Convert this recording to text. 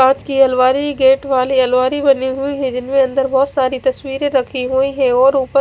काच की अलमारी गेट वाली अलमारी बनी हुई है जिनमे अंदर बहोत सारी तस्वीरे रखी हुई है और उपर--